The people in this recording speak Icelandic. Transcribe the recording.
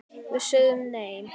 Við sögðum nei!